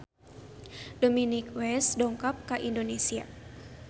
Dominic West dongkap ka Indonesia